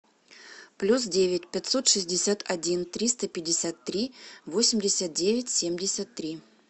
плюс девять пятьсот шестьдесят один триста пятьдесят три восемьдесят девять семьдесят три